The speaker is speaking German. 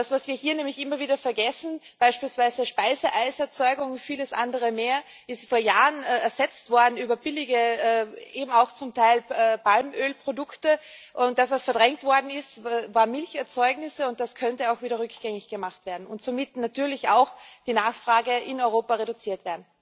Was wir hier nämlich immer wieder vergessen Beispielsweise Speiseeiserzeugung und vieles andere mehr ist vor Jahren ersetzt worden durch billige Produkte, zum Teil eben auch Palmölprodukte, und das, was verdrängt worden ist, waren Milcherzeugnisse, und das könnte auch wieder rückgängig gemacht werden und somit natürlich auch die Nachfrage in Europa reduziert werden.